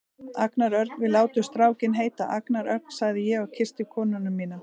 Agnar Ögn, við látum strákinn heita Agnar Ögn, sagði ég og kyssti konuna mína.